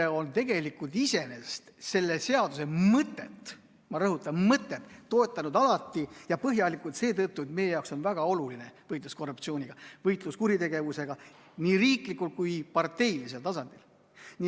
EKRE on tegelikult selle seaduse mõtet – ma rõhutan, mõtet – toetanud alati ja põhjalikult seetõttu, et meie jaoks on väga oluline võitlus korruptsiooniga, võitlus kuritegevusega nii riiklikul kui parteilisel tasandil.